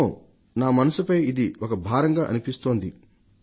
నా మనసుపై ఇది ఒక భారంగా అనిపిస్తుంది అంటూ ఆయన రాసి పంపారు